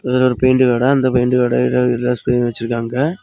இதுல ஒரு பெயிண்ட் கடை அந்த பெயிண்ட் கடையில வெச்சிருக்காங்க.